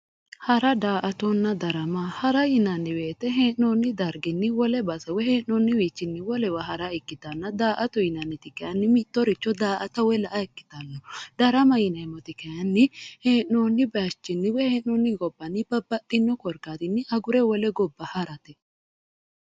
hara daa"atona darama hara yinanni woyiite he'noonni darginni wole base woy hee'noonniwiichinni wolewa hara ikkitanna daa"ato yinanniti kayiini mittoricho daa"ata woy la"a ikkitanno darama yineemoti kayiinni he'noonni bayiichin woy hee'noonni gobbanni babbaxxinno korkkatinni agure wole goba harate